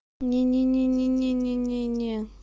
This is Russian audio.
не-не не-не не-не не-не